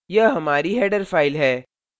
यह हमारी header file है